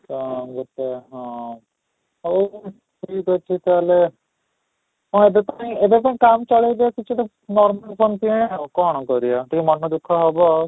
ତ ଗୋଟେ ହଁ ହଉ ଠିକ ଅଛି ତାହେଲେ ହଁ ଏବେ ପୁଣି ଏବେ ପାଇଁ କାମ ଚଲେଇଦେ କିଛି ଦିନ normal phone କିଣେ ଆଉ କ'ଣ କରିବା ଟିକେ ମନ ଦୁଃଖ ହେବ